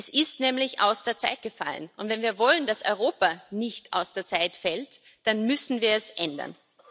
Es ist nämlich aus der Zeit gefallen. Und wenn wir wollen, dass Europa nicht aus der Zeit fällt, dann müssen wir es ändern.